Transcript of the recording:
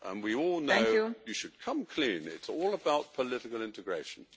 We all know you should come clean it is all about political integration.